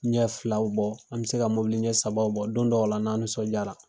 Ɲɛ filaw bɔ, an be se ka mobili ɲɛ sabaw bɔ don dɔw la, n'an nisɔndiyara.